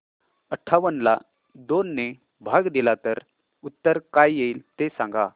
अठावन्न ला दोन ने भाग दिला तर उत्तर काय येईल ते सांगा